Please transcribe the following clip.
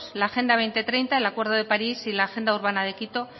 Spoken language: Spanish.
la agenda dos mil treinta el acuerdo de parís y la agenda urbana de quito